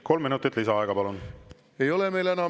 Kolm minutit lisaaega, palun!